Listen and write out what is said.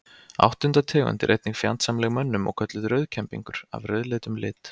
Áttunda tegund er einnig fjandsamleg mönnum og kölluð rauðkembingur af rauðleitum lit.